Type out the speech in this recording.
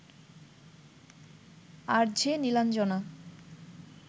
RJ Nilanjana